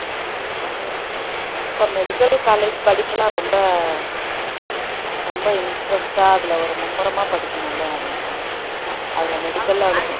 அப்ப medical college படிப்பெல்லாம் ரொம்ப ரொம்ப interest டா அதுல ஒரு மும்முரமா படிக்கணும்ல அதுல medical அ